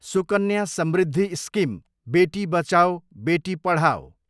Sukanya Samriddhi scheme, बेटी बचाओ बेटी पढाओ